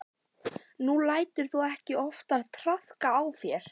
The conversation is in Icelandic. Nú lætur þú ekki oftar traðka á þér.